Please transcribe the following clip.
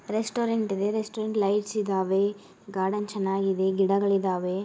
Restaurant ಇದೆ restaurant lights ಇದಾವೆ garden ಚೆನ್ನಾಗಿದೆ ಗಿಡಗಳಿದಾವೆ.